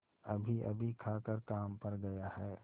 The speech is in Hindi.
अभीअभी खाकर काम पर गया है